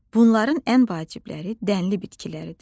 Bunların ən vacibləri dənli bitkiləridir.